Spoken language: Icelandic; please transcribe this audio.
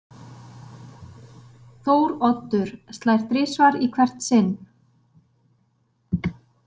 Þóroddur slær þrisvar í hvert sinn.